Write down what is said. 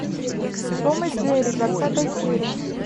том и джерри двадцатая серия